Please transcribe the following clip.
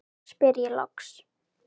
spyr ég loks.